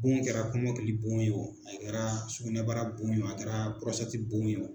Bon kɛra kumɔkili bon ye wo a kɛra sugunɛbara bon ye wo a kɛra bon ye wo.